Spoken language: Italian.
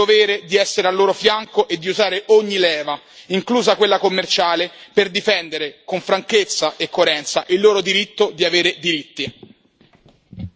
Sì, noi abbiamo il dovere di essere al loro fianco e di usare ogni leva, inclusa quella commerciale, per difendere con franchezza e coerenza il loro diritto di avere diritti.